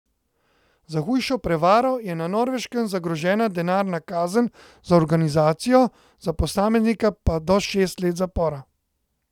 Za hujšo prevaro je na Norveškem zagrožena denarna kazen za organizacijo, za posameznika pa do šest let zapora.